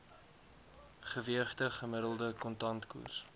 geweegde gemiddelde kontantkoers